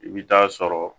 I bɛ taa sɔrɔ